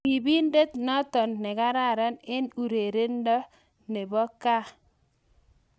Ripindet notok nekararan eng urerindo ko ngaa?